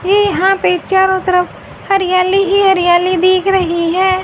ये यहां पे चारों तरफ हरियाली ही हरियाली दिख रही है।